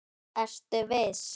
Ertu viss?